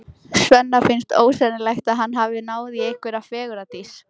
Svenna finnst ósennilegt að hann hafi náð í einhverja fegurðardís.